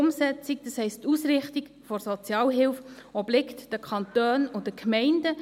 Die Umsetzung, das heisst, die Ausrichtung der Sozialhilfe, obliegt den Kantonen und den Gemeinden.